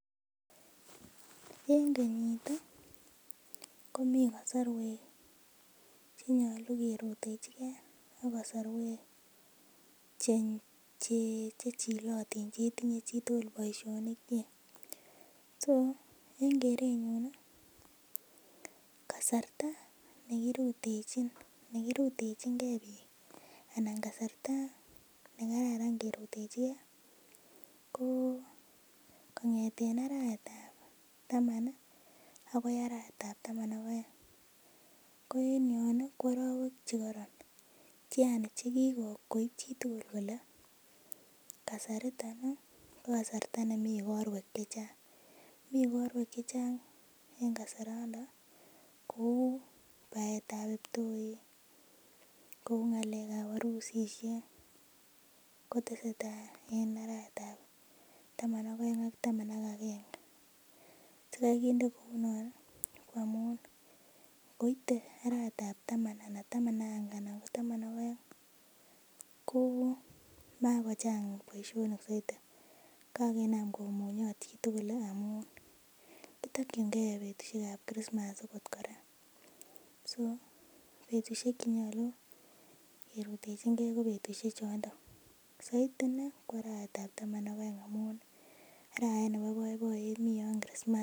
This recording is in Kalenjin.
En kenyit ih komii kasorwek chenyolu kerutechigee ak kasorwek che chechilotin chetinye chitugul boisionik kyik so en kerenyun ih kasarta nekirutechin gee biik anan kasarta nekararan kerutechigee ko kong'eten arawet ab taman ih akoi arawet ab taman ak oeng. Ko en yon ih ko arowek chekoron yani chekikoib chitugul kole kasariton ih ko kasarta nemii igorwek chechang. Mi igorwek chechang eng kasarando kou baetab kiptoik kou ng'alek ab arusisiek kotesetai en arawet ab taman ak oeng ak taman ak agenge sikai kinde kou non ih ko amun ngoite arawet ab taman ana taman ak aenge ana ko taman ak oeng ko makochang boisionik soiti ko kakinam komunyot chitugul ih amun kitokyingee betusiek ab krismas akot kora so betusiek chenyolu kerutechigee ko betusiek chondo soiti inei ko arawet ab taman ak oeng amun arawet nebo boiboiyet mi yon krismas